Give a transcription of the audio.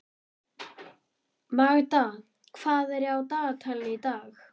Magda, hvað er á dagatalinu í dag?